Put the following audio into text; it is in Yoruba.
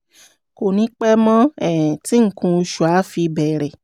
kò ní pẹ́ mọ́ um tí nǹkan oṣù á fi bẹ̀rẹ̀